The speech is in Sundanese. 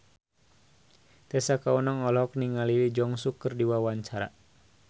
Tessa Kaunang olohok ningali Lee Jeong Suk keur diwawancara